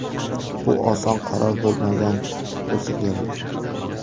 Bu oson qaror bo‘lmagan bo‘lsa kerak.